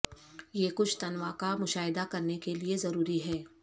یہ کچھ تنوع کا مشاہدہ کرنے کے لئے ضروری ہے